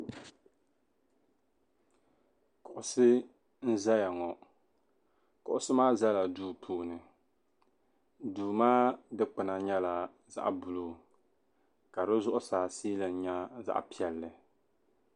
Kuɣisi n-zaya ŋɔ. Kuɣisi maa zala duu puuni. Duu maa dikpina nyɛla zaɣ' buluu ka zuɣusaa siilin nyɛ zaɣ' piɛlli.